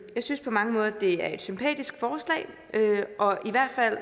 synes på mange måder at det er et sympatisk forslag og i hvert fald